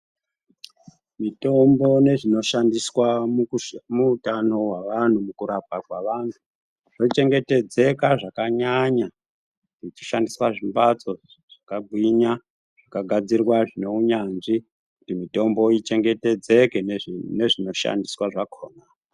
Mitombo nezvainoshandiswa muhutano hwavantu kurapwa zvochengetedzeka zvakanyanya kushandiswa zvimbatso kugwinya zvakagadzirwa zvine hunyanzvi mitombo ichengetedzeke nezvainoshandiswa zvakona.